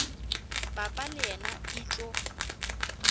papa le yena e tlo